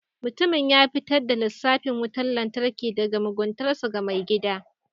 Mutumin ya fitar da lissafin wutar lantarki daga muguntarsa ga mai gida.